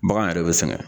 Bagan yɛrɛ bɛ sɛgɛn